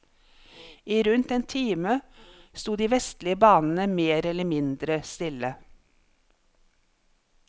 I rundt en time sto de vestlige banene mer eller mindre stille.